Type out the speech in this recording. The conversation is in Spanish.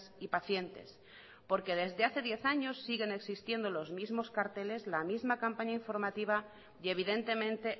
y pacientes porque desde hace diez años siguen existiendo los mismos carteles la misma campaña informativa y evidentemente